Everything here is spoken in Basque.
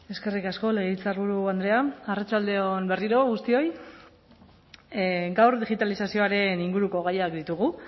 eskerrik asko legebiltzarburu andrea arratsalde on berriro guztioi gaur digitalizazioaren inguruko gaiak ditugu